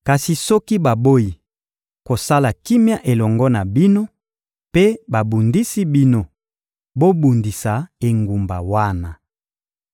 Kasi soki baboyi kosala kimia elongo na bino mpe babundisi bino, bobundisa engumba wana.